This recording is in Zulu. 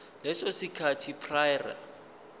leso sikhathi prior